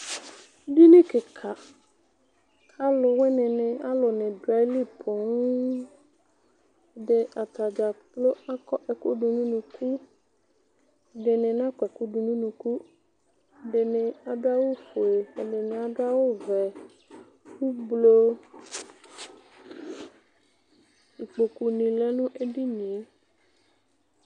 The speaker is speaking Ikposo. Edini kika ku aluwuini ni du ayili poo atadza kplo akɔ ɛku du nu unuku ɛdini nakɔ ɛku du nu unuku ɛdini adu awu ofue ɛdini adu awu vɛ ikpoku nu lɛ nu edinie